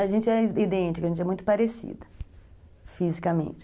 A gente é idêntica, a gente é muito parecida, fisicamente.